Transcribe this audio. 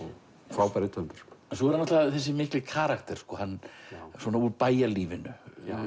frábær rithöfundur en svo er hann þessi mikli karakter svona úr bæjarlífinu